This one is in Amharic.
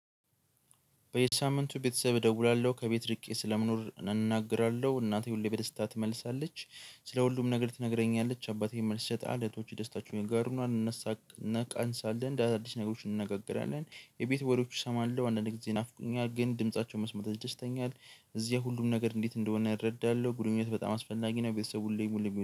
በየሳምንቱ ቤተሰብ እደውላለሁ። ከቤት እርቄ ስለምኖር እናገራለሁ እናቴ ሁሌ በደስታ ትመልሳለች። ስለ ሁሉም ነገር ትነግረኛለች። አባቴን መልስ ይሰጣ። እህቶቼ ደስታችሁን ይጋሩናል። እንነቃንሳለን እንደ አዲስ ነገሮች እንነጋገራለን። የቤት ወሬዎች እሰማለሁ። አንዳንዴ ጊዜ ይናፍቁኛል። ግን ድምፃቸውን መስማት ያስደስተኛል። እዚያ ሁሉም ነገር እንዴት እንደሆነ እረዳለሁ። ግንኙነት በጣም አስፈላጊ ነው። ቤተሰብ ሁሌም ሁሌም